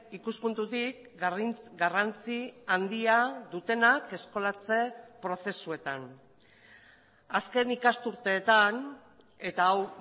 ikuspuntutik garrantzi handia dutenak eskolatze prozesuetan azken ikasturteetan eta hau